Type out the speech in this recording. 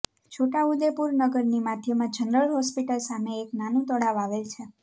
છોટાઉદેપુર નગરની માધ્યમાં general hospital સામે એક નાનું તળાવ આવેલ છે